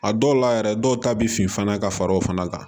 A dɔw la yɛrɛ dɔw ta bɛ fin fana ka far'o fana kan